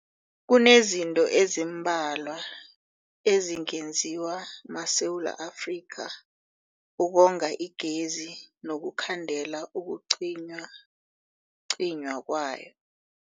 Kunezinto ezimbalwa ezingenziwa maSewula Afrika ukonga igezi nokukhandela ukucinywacinywa kwayo.